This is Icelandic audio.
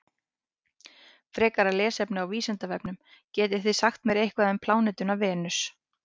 Frekara lesefni á Vísindavefnum: Getið þið sagt mér eitthvað um plánetuna Venus?